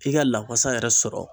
i ka lawasa yɛrɛ sɔrɔ.